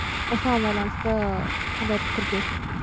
осыған байланысты қандай пікірдесіз